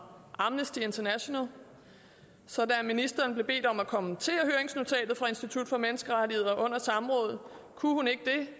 amnesty international da ministeren blev bedt om at kommentere høringsnotatet fra institut for menneskerettigheder under samrådet kunne hun ikke det